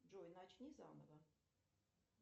джой начни заново